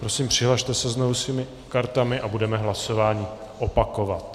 Prosím, přihlaste se znovu svými kartami a budeme hlasování opakovat.